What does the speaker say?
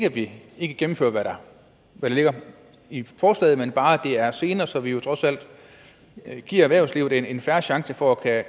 at vi ikke gennemfører hvad der ligger i forslaget men at det bare er senere så vi vi trods alt giver erhvervslivet en fair chance for at